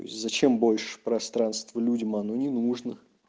зачем больше пространства людям оно не нужно